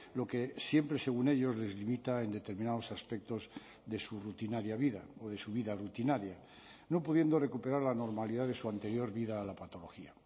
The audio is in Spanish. lo que siempre según ellos les limita en determinados aspectos de su rutinaria vida o de su vida rutinaria no pudiendo recuperar la normalidad de su anterior vida a la patología